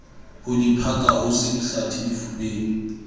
ho diphaka ho dihlathe difubeng